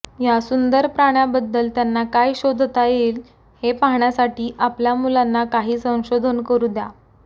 या सुंदर प्राण्याबद्दल त्यांना काय शोधता येईल हे पाहण्यासाठी आपल्या मुलांना काही संशोधन करू द्या